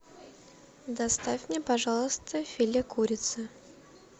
доставь мне пожалуйста филе курицы